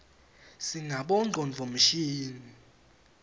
sinabonqcondvo mshini